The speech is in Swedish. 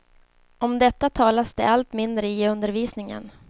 Om detta talas det allt mindre i undervisningen.